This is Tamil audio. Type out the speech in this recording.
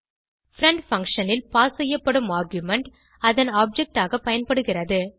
பிரெண்ட் பங்ஷன் ல் பாஸ் செய்யப்படும் ஆர்குமென்ட் அதன் ஆப்ஜெக்ட் ஆக பயன்படுகிறது